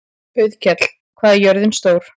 Auðkell, hvað er jörðin stór?